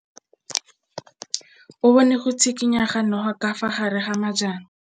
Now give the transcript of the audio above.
O bone go tshikinya ga noga ka fa gare ga majang.